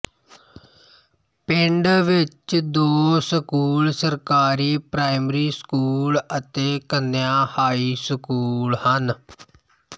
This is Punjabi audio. ਪਿੰਡ ਵਿੱਚ ਦੋ ਸਕੂਲ ਸਰਕਾਰੀ ਪ੍ਰਾਇਮਰੀ ਸਕੂਲ ਅਤੇ ਕੰਨਿਆ ਹਾਈ ਸਕੂਲ ਹਨ